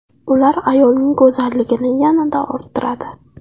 Ular ayolning go‘zalligini yanada orttiradi.